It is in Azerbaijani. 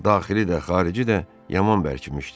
Daxili də, xarici də yaman bərkimişdi.